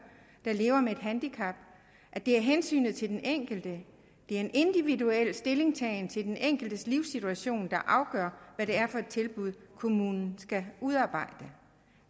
der lever med et handicap det er hensynet til den enkelte det er den individuelle stillingtagen til den enkeltes livssituation der afgør hvad det er for et tilbud kommunen skal udarbejde